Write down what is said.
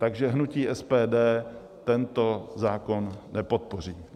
Takže hnutí SPD tento zákon nepodpoří.